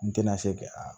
N tɛna se kɛ a